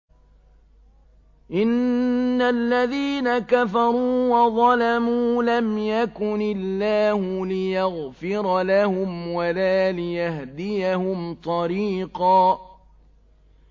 إِنَّ الَّذِينَ كَفَرُوا وَظَلَمُوا لَمْ يَكُنِ اللَّهُ لِيَغْفِرَ لَهُمْ وَلَا لِيَهْدِيَهُمْ طَرِيقًا